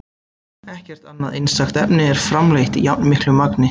Ekkert annað einstakt efni er framleitt í jafnmiklu magni.